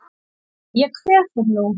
Dóri minn ég kveð þig nú.